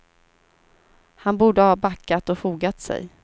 Han borde ha backat och fogat sig.